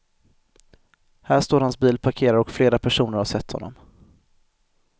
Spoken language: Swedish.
Här står hans bil parkerad och flera personer har sett honom.